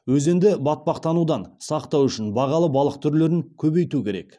өзенді батпақтанудан сақтау үшін бағалы балық түрлерін көбейту керек